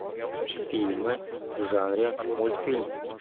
фильмы в жанре мультфильм